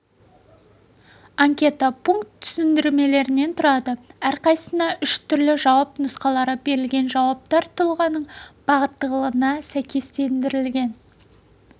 анкета пункт түсіндірмелерден тұрады әрқайсысына үш түрлі жауап нұсқалары берілген жауаптар тұлғаның бағыттылығына сәйкестендірілген